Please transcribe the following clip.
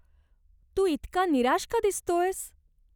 तू इतका निराश का दिसतोयस?